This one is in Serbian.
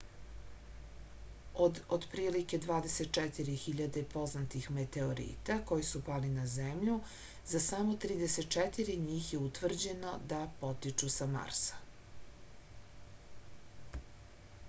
od otprilike 24.000 poznatih meteorita koji su pali na zemlju za samo 34 njih je utvrđeno da potiču sa marsa